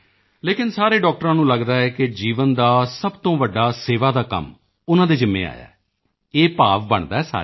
ਲੇਕਿਨ ਸਾਰੇ ਡਾਕਟਰਾਂ ਨੂੰ ਲੱਗਦਾ ਹੈ ਕਿ ਜੀਵਨ ਦਾ ਸਭ ਤੋਂ ਵੱਡਾ ਸੇਵਾ ਦਾ ਕੰਮ ਉਨ੍ਹਾਂ ਦੇ ਜਿੰਮੇ ਆਇਆ ਹੈ ਇਹ ਭਾਵ ਬਣਦਾ ਹੈ ਸਾਰਿਆਂ ਦਾ